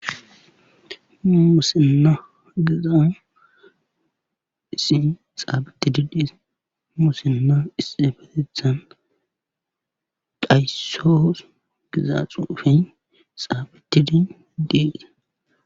Muusinna giza issi xaafettidi diza musinna issifetethan dhayssoos giza xuufey xaafettidi dey.